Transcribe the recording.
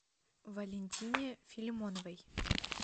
валентине филимоновой